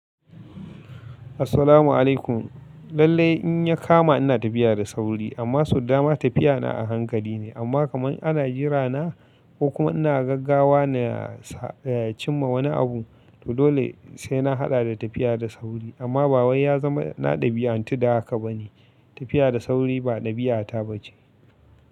Assalamu'alaikum. Lallai in ya kama ina tafiya da sauri amma soda dama tafiya na a hankali ne amma kamar ana jira na ko kuma ina gaggawa ne a sa cimma wani abu to dole sai na haɗa da tafiya da sauri amma ba wai ya zama na ɗabi'antu da haka ba ne. Tafiya da sauri ba dabi'ata bace.